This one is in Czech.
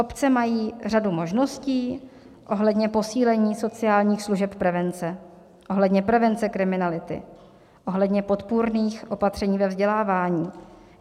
Obce mají řadu možností ohledně posílení sociálních služeb prevence ohledně prevence kriminality, ohledně podpůrných opatření ve vzdělávání.